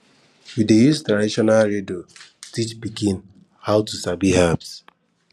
we dey use traditional riddles teach pikin how to sabi herbs